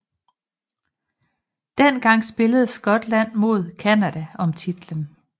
Den gang spillede Skotland mod Canada om titlen